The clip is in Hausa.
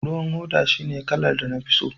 ruwan hoda shine kalar da na fi so